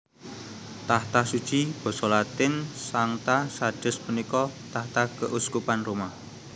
Tahta Suci Basa Latin Sancta Sedes punika tahta keuskupan Roma